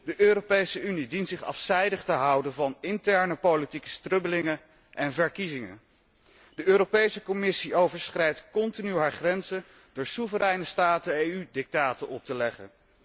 De Europese Unie dient zich afzijdig te houden van interne politieke strubbelingen en verkiezingen. De Europese Commissie overschrijdt continu haar grenzen door soevereine staten EU dictaten op te leggen.